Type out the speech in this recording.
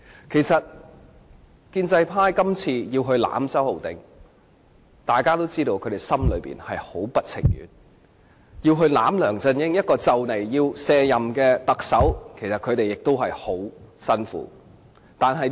其實，大家都知道，建制派議員今次要維護周浩鼎議員，心中是很不情願的；他們要維護梁振英這位即將卸任的特首，也很辛苦。